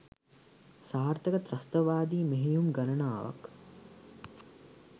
සාර්ථක ත්‍රස්තවාදී මෙහෙයුම් ගණනාවක්